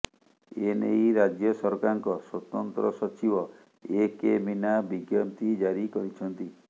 ଏନେଇ ରାଜ୍ୟ ସରକାରଙ୍କ ସ୍ୱତନ୍ତ୍ର ସଚିବ ଏ କେ ମୀନା ବିଜ୍ଞପ୍ତି ଜାରି କରିଛନ୍ତି